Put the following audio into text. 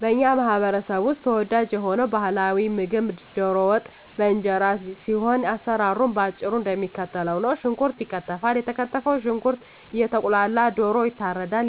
በኛ ማህበረሰብ ውስጥ ተወዳጅ የሆነው ባህላዊ ምግብ ደሮ ወጥ በእንጀራ ሲሆን አሰራሩም በአጭሩ እደሚከተለው ነው። ሽንኩርት ይከተፋል የተከተፈው ሽንኩርት እየቁላላ ደሮ ይታረዳል፣